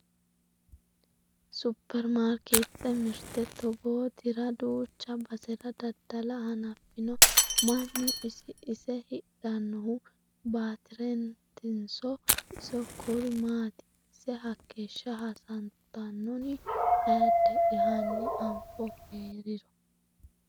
Superimaarketete mirte togootra duucha basera dadda'la hanafino mannu isi ise hidhanohu batirenatinso isi koru maati ise hakeeshsha hasattanonni ayeedde'ya hanni anfohu heeriro